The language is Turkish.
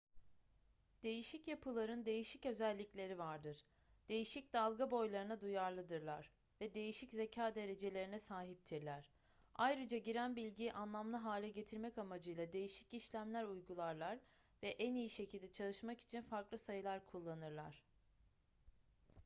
değişik yapıların değişik özellikleri vardır değişik dalga boylarına duyarlıdırlar ve değişik zeka derecelerine sahiptirler ayrıca giren bilgiyi anlamlı hale getirmek amacıyla değişik işlemler uygularlar ve en iyi şekilde çalışmak için farklı sayılar kullanırlar